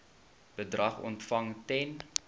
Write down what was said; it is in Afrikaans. bedrag ontvang ten